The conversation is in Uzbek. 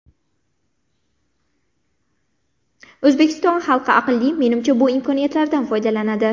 O‘zbekiston xalqi aqlli, menimcha, bu imkoniyatlardan foydalanadi.